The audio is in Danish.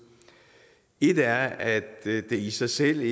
et er at det i sig selv